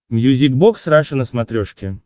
мьюзик бокс раша на смотрешке